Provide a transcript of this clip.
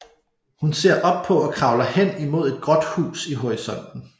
Hun ser op på og kravler hen imod et gråt hus i horisonten